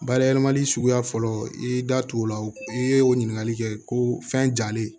Bayɛlɛmali suguya fɔlɔ i y'i da t'o la i ye o ɲininkali kɛ ko fɛn jalen